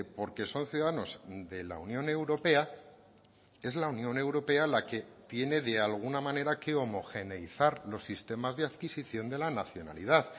porque son ciudadanos de la unión europea es la unión europea la que tiene de alguna manera que homogeneizar los sistemas de adquisición de la nacionalidad